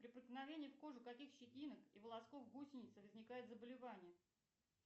при проникновении в кожу каких щетинок и волосков гусеницы возникает заболевание